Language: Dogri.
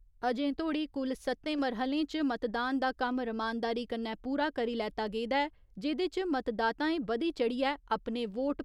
अजें धोड़ी कुल सत्तें मरह्‌लें च मतदान दा कम्म रमानदारी कन्नै पूरा करी लैता गेदा ऐ जेह्दे च मतदाताएं बधी चढ़ियै अपने वोट